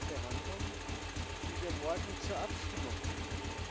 behandeln, die wir morgen zur Abstimmung bringen.